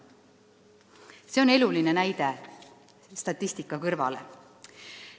" See oli eluline näide statistika kõrvale.